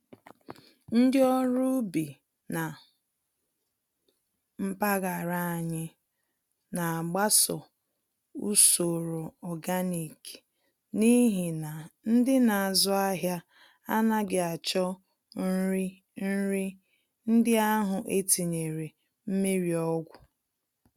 Ndị ọrụ ubi na mpaghara anyị nagbaso usoro ọganik n'ihi na ndị nazụ ahịa anaghị achọ nri nri ndị ahụ etinyere mmírí ọgwụ